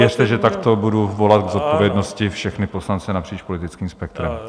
Věřte, že takto budu volat k zodpovědnosti všechny poslance napříč politickým spektrem.